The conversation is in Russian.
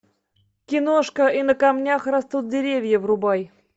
киношка и на камнях растут деревья врубай